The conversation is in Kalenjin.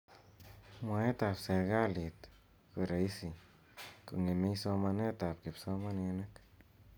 mwaet ap serikalit koraisi kongemei somanet ap kipsomaninik